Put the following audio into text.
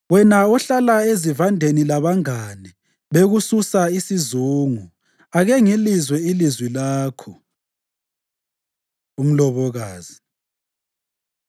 Wena ohlala ezivandeni labangane bekususa isizungu, ake ngilizwe ilizwi lakho! Umlobokazi